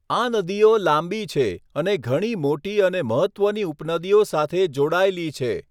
આ નદીઓ લાંબી છે અને ઘણી મોટી અને મહત્ત્વની ઉપનદીઓ સાથે જોડાયેલી છે.